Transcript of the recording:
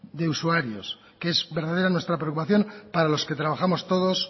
de usuarios que es verdadera nuestra preocupación para los que trabajamos todos